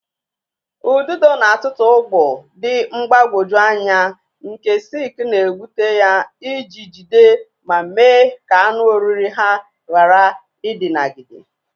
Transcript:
Ududo na-atụtụ ụgbụ dị mgbagwoju anya nke silk na-egbute ya iji jide ma mee ka anụ oriri ha ghara idinagide.